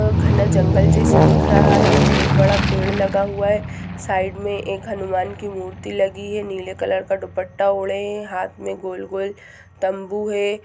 अ-घना जंगल जैसा दिख रहा है बहुत बड़ा पेड़ लगा हुआ है साइड मे एक हनुमान की मूर्ति लगी है नीले कलर का दुपट्टा ओढ़े है हाँथ मे गोल -गोल तंबू है।